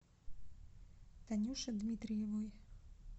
танюши дмитриевой